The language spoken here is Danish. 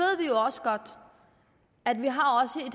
ved også godt at vi har